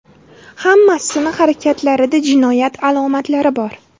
Hammasini harakatlarida jinoyat alomatlari bor.